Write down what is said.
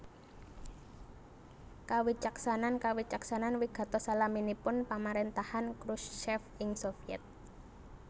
Kawicaksanan kawicaksanan wigatos salaminipun pamaréntahan Khrushchev ing Sovyèt